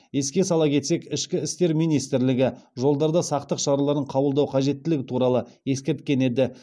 еске сала кетсек ішкі істер министрлігі жолдарда сақтық шараларын қабылдау қажеттілігі туралы ескерткен еді